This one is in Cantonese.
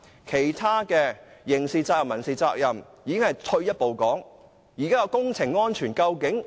其他刑事責任及民事責任已是退一步的說法。